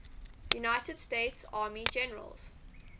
united states army generals